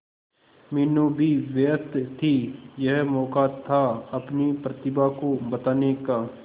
मीनू भी व्यस्त थी यह मौका था अपनी प्रतिभा को बताने का